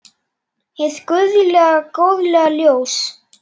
Hið guðlega góðlega ljós.